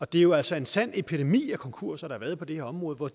det er jo altså en sand epidemi af konkurser der har været på det her område og